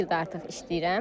Beş ildir artıq işləyirəm.